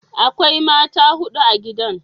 Akwai mata hudu a gidan.